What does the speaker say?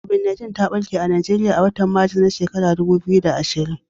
COVID-19 ta ɓarke a Najeriya a watan Maris, na shekarar dubu biyu da ashirin.